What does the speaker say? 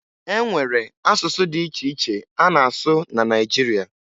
E nwere asụsụ dị iche iche a na-asụ na Naịjirịa